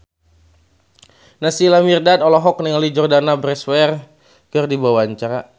Naysila Mirdad olohok ningali Jordana Brewster keur diwawancara